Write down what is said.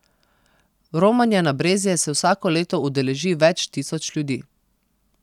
Romanja na Brezje se vsako leto udeleži več tisoč ljudi.